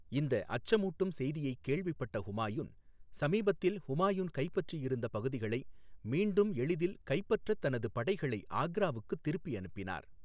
இந்த அச்சமூட்டும் செய்தியைக் கேள்விப்பட்ட ஹுமாயூன், சமீபத்தில் ஹுமாயூன் கைப்பற்றியிருந்த பகுதிகளை மீண்டும் எளிதில் கைப்பற்றத் தனது படைகளை ஆக்ராவுக்குத் திருப்பி அனுப்பினார்.